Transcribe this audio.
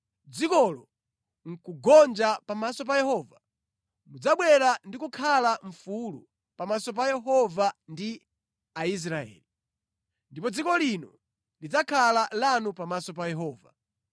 dzikolo nʼkugonja pamaso pa Yehova, mudzabwera ndi kukhala mfulu pamaso pa Yehova ndi Aisraeli. Ndipo dziko lino lidzakhala lanu pamaso pa Yehova.